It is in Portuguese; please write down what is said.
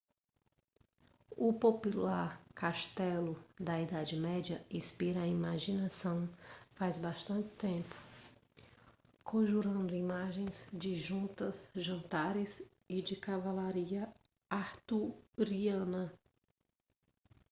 o popular castelo da idade média inspira a imaginação faz bastante tempo conjurando imagens de justas jantares e de cavalaria arturiana